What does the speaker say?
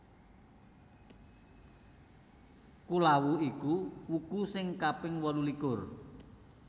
Kulawu iku wuku sing kaping wolulikur